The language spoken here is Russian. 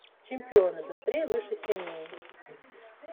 чемпионы быстрее выше сильнее